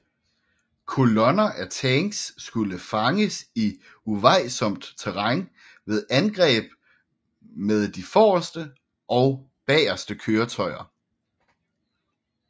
Kolonner af tanks skulle fanges i uvejsomt terræn ved angreb med de forreste og bageste køretøjer